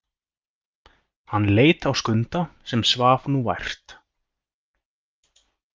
Hann leit á Skunda sem svaf nú vært.